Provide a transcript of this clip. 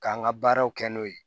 K'an ka baaraw kɛ n'o ye